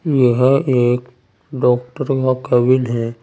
यह एक डॉक्टरों का केबिन है।